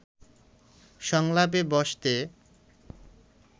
সংলাপে বসতে